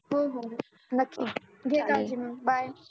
हो हो नक्की घे काळजी मग bye